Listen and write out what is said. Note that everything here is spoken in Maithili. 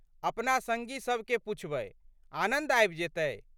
अपना संगी सबके पुछबै। आनन्द आबि जेतै।